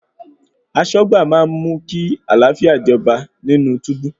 Aṣọ́gbà máa mú kí àlàáfíà jọba nínú túbú.